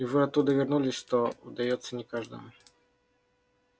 и вы оттуда вернулись что удаётся не каждому